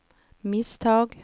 misstag